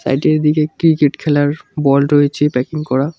দিকে ক্রিকেট খেলার বল রয়েছে প্যাকিং করা।